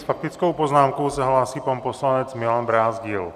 S faktickou poznámkou se hlásí pan poslanec Milan Brázdil.